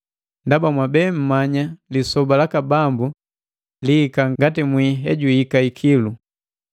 Ndaba mwabe mmanya lisoba laka Bambu liika ngati mwii hejuhika ikilu.